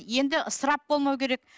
енді ысырап болмау керек